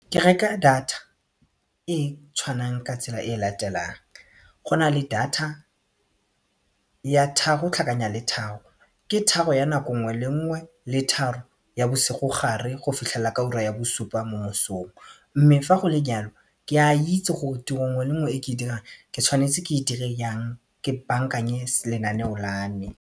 Ke reka data e tshwanang ka tsela e latelang go na le data ya tharo tlhakanya le tharo, ke tharo ya nako nngwe le nngwe le tharo ya bosigogare go fitlhelella ka ura ya bosupa mo mosong mme fa go le jalo ke a itse gore tiro e nngwe le nngwe e ke dirang ke tshwanetse ke e dire yang ke bankanye lenaneo la me.